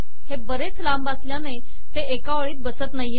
हे बरेच लांब असल्याने हे एका ओळीत बसत नाही